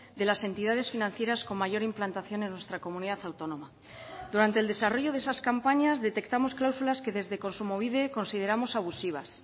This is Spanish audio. de las entidades financieras con mayor implantación en nuestra comunidad autónoma durante el desarrollo de esas campañas detectamos cláusulas que desde kontsumobide consideramos abusivas